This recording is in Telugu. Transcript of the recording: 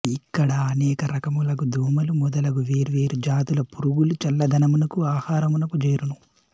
ఇక్కడ ననేక రకములగు దోమలు మొదలగు వేర్వేరు జాతుల పురుగులు చల్ల దనమునకును ఆహారమునకును జేరును